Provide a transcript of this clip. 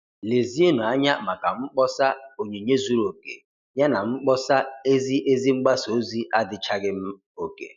Lezienụ anya maka mkpọsa 'Onyinye zuru oke' yana mkpọsa ‘ Ezi Ezi mgbasa ozi adịchaghị oke